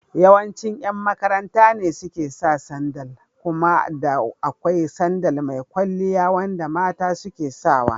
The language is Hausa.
Yawancin yan makaranta ne suke saka sandal kuma da akwai sandal mai kwalliya wanda mata suke sawa.